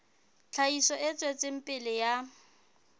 tlhahiso e tswetseng pele ya